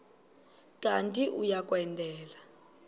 kanti uia kwendela